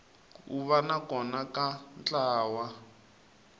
ku va kona ka ntlawa